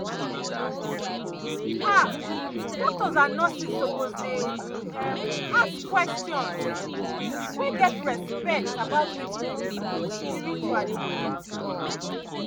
ah doctors and nurses suppose dey um ask questions um wey get respect about wetin people need spiritually.